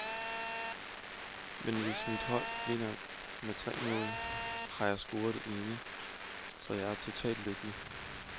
Men hvis mit hold vinder med tre mål, og jeg har scoret det ene, så er jeg totalt lykkelig.